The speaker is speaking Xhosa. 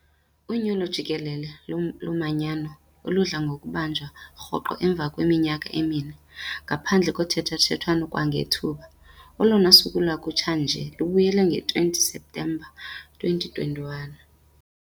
unyulo jikelele lomanyano, oludla ngokubanjwa rhoqo emva kweminyaka emine, ngaphandle kothethathethwano kwangethuba, olona suku lwakutsha nje lubuyela nge-20 Septemba 2021.